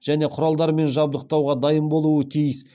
және құралдармен жабдықтауға дайын болуы тиіс